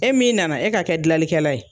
E min nana e ka kɛ dilanlikɛla ye.